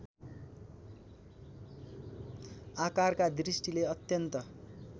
आकारका दृष्टिले अत्यन्त